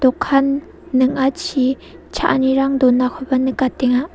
dokan ning·achi cha·anirang donakoba nikatenga.